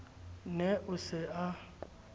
ne a se a a